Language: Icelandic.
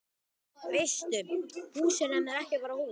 Veistu, hús er nefnilega ekki bara hús.